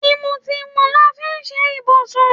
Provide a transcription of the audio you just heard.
Tìmùtìmù la fi ṣe ibùsùn.